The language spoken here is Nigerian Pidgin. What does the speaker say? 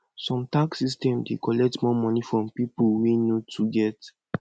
some tax system dey collect more money from pipo wey no too get